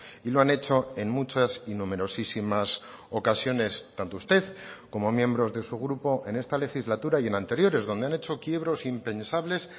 y lo han hecho en muchas y numerosísimas ocasiones tanto usted como miembros de su grupo en esta legislatura y en anteriores donde han hecho quiebros impensables